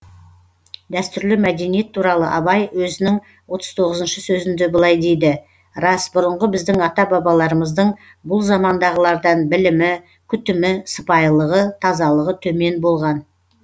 дәстүрлі мәдениет туралы абай өзінің отыз тоғызыншы сөзінде былай дейді рас бұрынғы біздің ата бабаларымыздың бұл замандағылардан білімі күтімі сыпайылығы тазалығы төмен болған